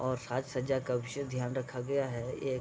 और साज-सज्जा का विशेष ध्यान रखा गया है एक --